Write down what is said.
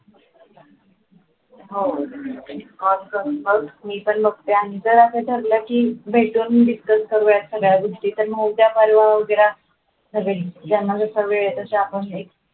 हो मी पण बघते आणि जरासं ठरलं की भेटून discuss करूया सांगड्या गोष्टी तर